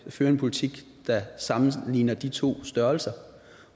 fører en politik der sammenligner de to størrelser